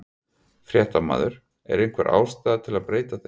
Fréttamaður: Er einhver ástæða til að breyta þeim?